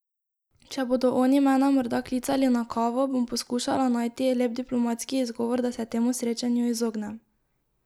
Če bodo oni mene morda klicali na kavo, bom poskušala najti lep diplomatski izgovor, da se temu srečanju izognem.